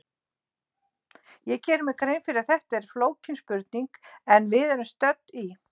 Ég geri mér grein fyrir að þetta er flókin spurning, en við erum stödd í